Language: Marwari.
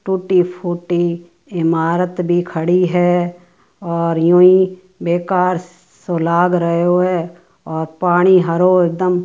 टूटी फूटी ईमारत भी खड़ी हैं और यूँ ही बेकार सो लाग रयो है और पानी हरो एकदम --